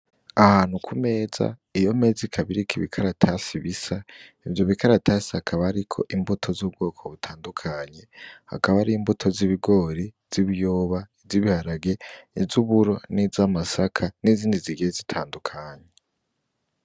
Ahantu ku meza iyo meza ikabiri kibikaratasi bisa ivyo bikaratasi hakaba, ariko imbuto z'ubwoko butandukanye hakaba ari imbuto z'ibigori z'ibyoba izoibiharage izo uburo n'izo amasaka n'izindi zigihe zitandukanye.